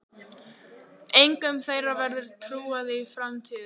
Engum þeirra verður trúað í framtíðinni.